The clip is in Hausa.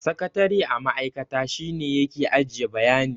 Sakatare a ma'aikata, shi ne ya ke ajiye bayanai.